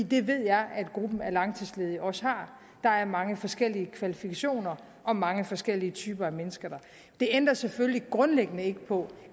det ved jeg at gruppen af langtidsledige også har der er mange forskellige kvalifikationer og mange forskellige typer af mennesker det ændrer selvfølgelig grundlæggende ikke på